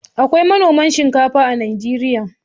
Akwai manoman shinkafa a Najeriya.